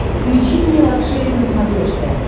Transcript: включи мне лакшери на смотрешке